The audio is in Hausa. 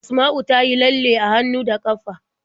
Asma'u ta yi lalle a hannu da ƙafa.